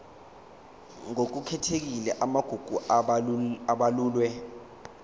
ngokukhethekile amagugu abalulwe